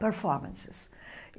performances.